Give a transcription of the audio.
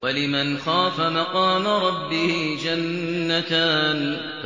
وَلِمَنْ خَافَ مَقَامَ رَبِّهِ جَنَّتَانِ